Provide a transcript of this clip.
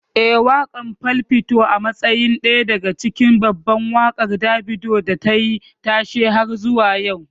Eh, waƙar 'Fall' fito a matsayin daya daga cikin babban waƙar Davido da tayi tashe har zuwa yau.